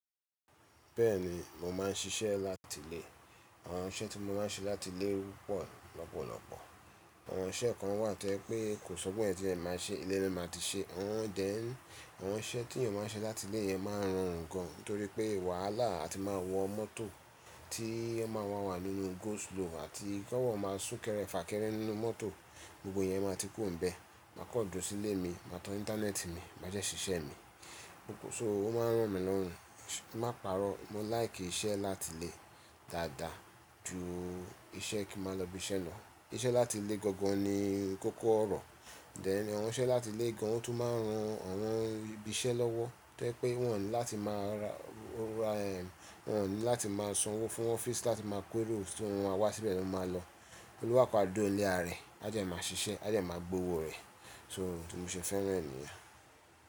Bẹ́ẹ̀ni, mo máa ń ṣiṣẹ́ láti ilé. Àwọn iṣẹ́ tí mo máa ń ṣe láti ilé pọ̀ lọ́pọ̀lọ́pọ̀. Àwọn iṣẹ́ kan wà tẹ́ẹ́ pè kò sọ́kọ̀ ẹní tí ẹ máa ṣe, ilé rẹ máa ti ṣe. Ọ̀n dẹ̀ ń, àwọn iṣẹ́ tí ènìyàn máa ń ṣe láti ilé yẹn máa ń ran ń gan. Nitorípé wàhálà, a ti máa wọ mọ́tò tí ó máa wa wà nínú go slow àti kọ́ wọ́n máa sún kẹ́rẹ́, fà kẹ́rẹ́ nínú mọ́tò, gbogbo yẹn máa ti kù ń bẹ. Màá kọ̀ ọ́ jọ́ sí ilé mi, máa tọ́n íńtánẹ́ẹ̀tì mi, máá jẹ́ ṣiṣẹ́ mi. So, ó máa ń ro mi lọ́rùn. Má pààrọ̀, mó láìkì iṣẹ́ láti ilé dáadáa ju iṣẹ́ kí n máa lọ ibi iṣẹ́ lọ. Iṣẹ́ láti ilé gangan ni kókó ọ̀rọ̀. Ọ̀n dẹ̀ ní àwọn iṣẹ́ láti ilé gan, ó tún máa ń ran àwọn ibi iṣẹ́ lọ́wọ́. Tẹ́ẹ́ pé wọ́n ní láti máa ra, wọ́n ní láti máa san owó fún ọfíísì láti máa kó irú ẹnì tó ń wá síbẹ̀ lọ máa lọ. Olúwà pàádó ile ara rẹ̀, á dẹ́ máá ṣiṣẹ́, á dẹ́ máá gbówó rẹ̀. So, mo ṣe fẹ́ràn ènìyàn.